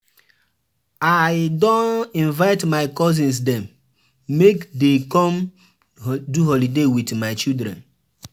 I don invite my cousins dem make dey come do holiday wit my children.